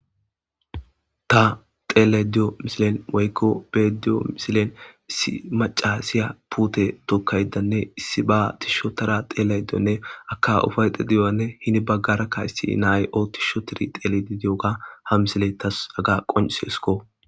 Ta xellayido de'iyo misilen woykko be'ayido diyo misilen issi macashiya puutte tookayidanne issiba shoodara xellayidonne haka eepayidonne heeni baggara issi na'ayi ootishe uuttidii xellishe de'iyogga ha misiley tas haga qonccisesikko